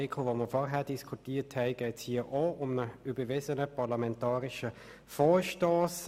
Wie im vorhin diskutierten Artikel geht es hier um einen überwiesenen parlamentarischen Vorstoss.